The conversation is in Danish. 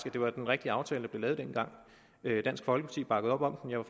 at det var den rigtige aftale der blev lavet dengang dansk folkeparti bakkede op om den jeg var